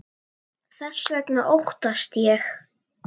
Þess vegna óttast ég.